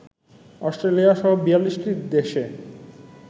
অস্ট্রেলিয়াসহ ৪২টি দেশে